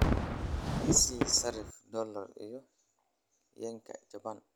i sii sarifka doollarka iyo yenka japan